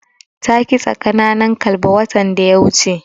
Ta kitsa ƙananan kalba watan da ya wuce.